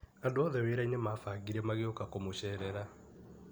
And othe wĩra-inĩ mabangire magĩũka kũmũcerera.